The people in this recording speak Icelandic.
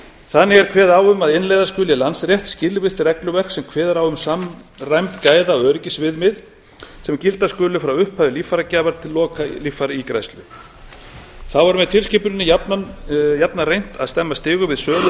þannig er kveðið á um að innleiða skuli landsrétt skilvirkt regluverk sem kveður á um samræmd gæðaöryggisviðmið sem gilda skuli frá upphafi líffæragjafar til loka líffæraígræðslu þá er með tilskipuninni jafnan reynt að stemma stigu við sölu á